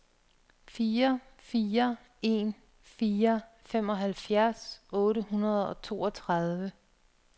fire fire en fire femoghalvfjerds otte hundrede og toogtredive